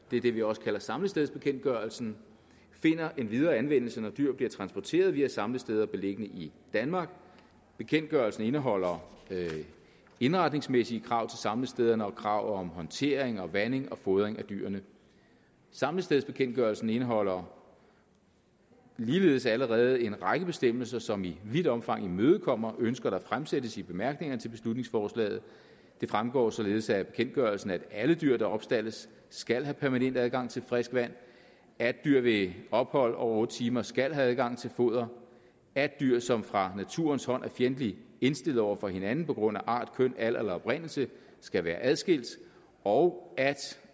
det er den vi også kalder samlingsstedsbekendtgørelsen finder endvidere anvendelse når dyr bliver transporteret via samlesteder beliggende i danmark bekendtgørelsen indeholder indretningsmæssige krav til samlestederne og krav om håndtering og vanding og fodring af dyrene samlestedsbekendtgørelsen indeholder ligeledes allerede en række bestemmelser som i vidt omfang imødekommer ønsker der fremsættes i bemærkningerne til beslutningsforslaget det fremgår således af bekendtgørelsen at alle dyr der opstaldes skal have permanent adgang til frisk vand at dyr ved ophold over otte timer skal have adgang til foder at dyr som fra naturens hånd er fjendtligt indstillet over for hinanden på grund af art køn alder eller oprindelse skal være adskilt og at